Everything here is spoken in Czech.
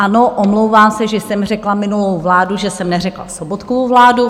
Ano, omlouvám se, že jsem řekla minulou vládu, že jsem neřekla Sobotkovu vládu.